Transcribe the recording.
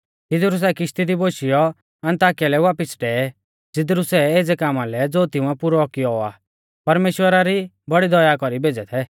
तिदरु सै किश्ती दी बोशियौ अन्ताकिया लै वापिस डेवै ज़िदरु सै एज़ै कामा लै ज़ो तिंउऐ पुरौ कियौ आ परमेश्‍वरा री बौड़ी दया कौरी भेज़ै थै